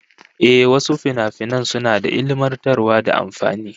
Ehh, wasu finafinan suna da ilmantarwa da amfani